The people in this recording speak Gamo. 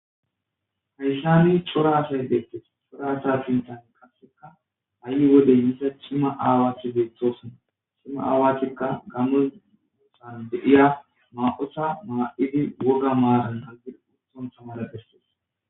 Hayssami cora asay deettes cora asa finxan kassekka ayi wodey misa cimma aawaati beethosona cimma aawatikka gamon musan be7iya ma7osa maa7idi woga maaran azir utton samara phestes.